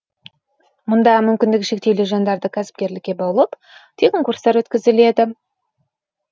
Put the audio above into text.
мұнда мүмкіндігі шектеулі жандарды кәсіпкерлікке баулып тегін курстар өткізіледі